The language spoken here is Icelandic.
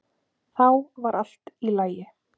Þá var allt í lagi.